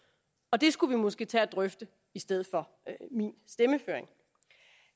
og det skulle vi måske tage at drøfte i stedet for min stemmeføring